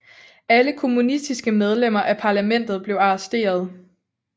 Alle kommunistiske medlemmer af parlamentet blev arresteret